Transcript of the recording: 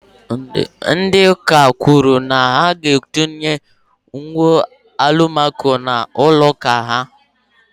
Ndị ụka kwùrù na ha ga etinye windo Alụmaco n'ụlọ ụka ha